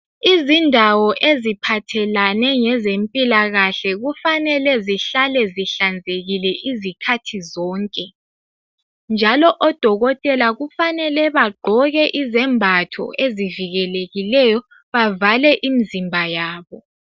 Izindawo eziphathelane lezempilakahle kufanele zihlale zihlanzekile izikhathi zonke. Njalo odokotela kufanele bagqoke izembatho ezivikelekileyo bavale imzimba yabo.